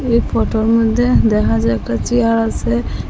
এই ফটোর মইদ্যে দেখা যায় একটা চেয়ার আসে ।